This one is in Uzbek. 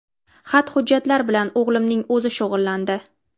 Xat-hujjatlar bilan o‘g‘limning o‘zi shug‘ullandi.